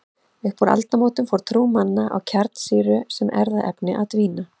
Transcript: Upp úr aldamótunum fór trú manna á kjarnsýru sem erfðaefni að dvína.